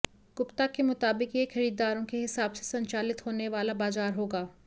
गुप्ता के मुताबिक यह खरीदारों के हिसाब से संचालित होने वाला बाजार होगा